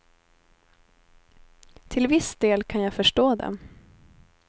Till viss del kan jag förstå dem.